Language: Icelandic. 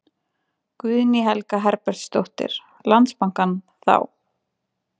Guðný Helga Herbertsdóttir: Landsbankann þá?